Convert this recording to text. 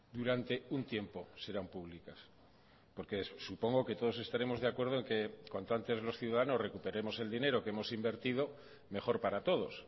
durante un tiempo serán públicas porque supongo que todos estaremos de acuerdo en que cuanto antes los ciudadanos recuperemos el dinero que hemos invertido mejor para todos